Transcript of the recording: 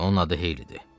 Onun adı Heylidi.